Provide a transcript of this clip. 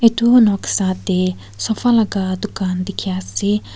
etu noksa teh sofa laga dukan dikhia ase.